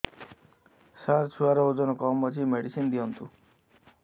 ସାର ଛୁଆର ଓଜନ କମ ଅଛି ମେଡିସିନ ଦିଅନ୍ତୁ